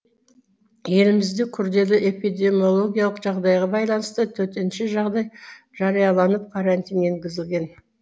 елімізде күрделі эпидемиологиялық жағдайға байланысты төтенше жағдай жарияланып карантин енгізілген